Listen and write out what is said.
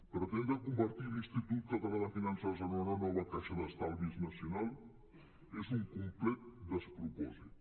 pretendre convertir l’institut català de finances en una nova caixa d’estalvis nacional és un complet despropòsit